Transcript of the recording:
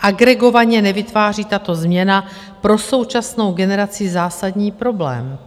Agregovaně nevytváří tato změna pro současnou generaci zásadní problém,